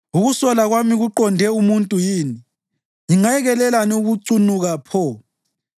Ukusola kwami kuqonde umuntu yini? Ngingayekelelani ukucunuka pho?